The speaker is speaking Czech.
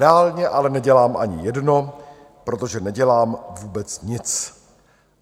Reálně ale nedělám ani jedno, protože nedělám vůbec nic.